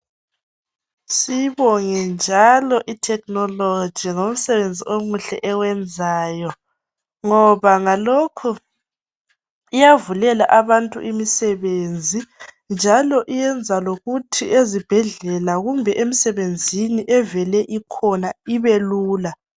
Siyibonge njalo i-technology ngomsebenzi omuhle ewenzayo. Ngoba ngalokho iyavulela abantu imisebenzi. Njalo iyenza lokuthi ezibhedlela kumbe emsebenzini evele ikhona ibelula.